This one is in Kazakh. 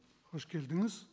қош келдіңіз